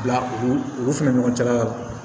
Bila u fɛnɛ ɲɔgɔncɛ la